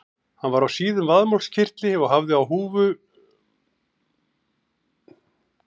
Hann var á síðum vaðmálskyrtli og hafði á höfði húfu með eyrnaskjólum.